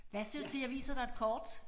Hvad siger du til jeg viser dig et kort?